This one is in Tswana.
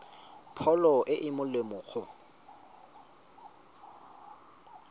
pholo e e molemo go